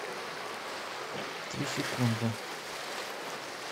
три секунды